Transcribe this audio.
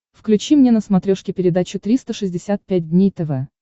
включи мне на смотрешке передачу триста шестьдесят пять дней тв